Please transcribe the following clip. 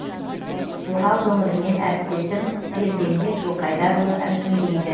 орал өңірінен әріптесім ерденбек жылқайдарұлы әңгімелейді